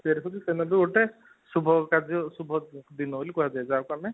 ଦିନକୁ ଗୋଟେ ଶୁଭ କାର୍ଯ୍ୟ ଶୁଭ ଦିନ ବୋଲି କୁହା ଯାଏ ଯାହାକୁ ଆମେ